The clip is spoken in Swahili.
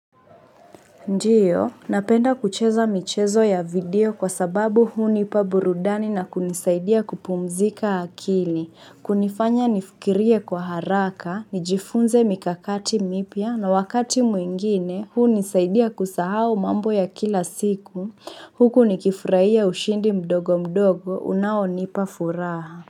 Ndiyo, napenda kucheza michezo ya video kwa sababu huu nipa burudani na kunisaidia kupumzika akili, kunifanya nifikirie kwa haraka, nijifunze mikakati mipia na wakati mwingine huu nisaidia kusahau mambo ya kila siku, huku nikifurahia ushindi mdogo mdogo unaonipa furaha.